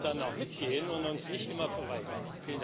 Wir müssen dann auch mitgehen und uns nicht immer verweigern.